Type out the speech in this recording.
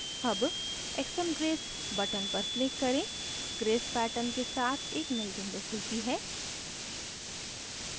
अब xmgrace button पर click करें grace pattern के साथ एक नयी window खुलती है